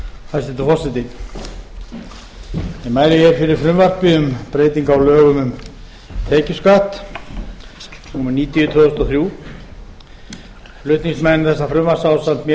forseti ég mæli hér fyrir frumvarpi um breytingu á lögum um tekjuskatt númer níutíu tvö þúsund og þrjú flutningsmenn þessa frumvarps ásamt mér